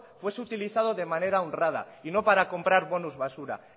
fuese utilizado de manera honrada y no para comprar bonos basura